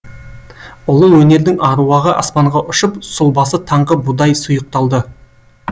ұлы өнердің аруағы аспанға ұшып сұлбасы таңғы будай сұйықталды